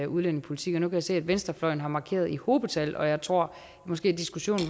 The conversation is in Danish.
udlændingepolitik og nu kan jeg se at venstrefløjen har markeret i hobetal og jeg tror måske at diskussionen